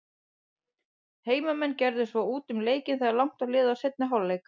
Heimamenn gerðu svo út um leikinn þegar langt var liðið á seinni hálfleikinn.